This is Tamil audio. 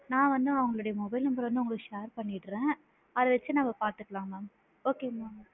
நான் வந்து உங்களோட mobile number வந்து share பண்ணிடுறேன் அத வச்சு நாம பாத்துக்கலாம் mam okay ங்களா.